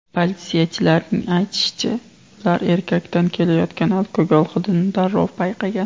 Politsiyachilarning aytishicha, ular erkakdan kelayotgan alkogol hidini darrov payqagan.